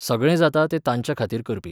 सगळें जाता तें तांच्या खातीर करपी.